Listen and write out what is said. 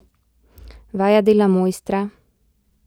Vaja dela mojstra!